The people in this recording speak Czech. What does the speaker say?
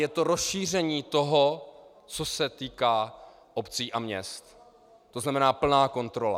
Je to rozšíření toho, co se týká obcí a měst, to znamená plná kontrola.